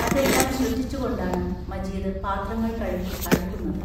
അതെല്ലാം ശ്രദ്ധിച്ചുകൊണ്ടാണ് മജീദ് പാത്രങ്ങൾ കഴുകി അടുക്കുന്നത്.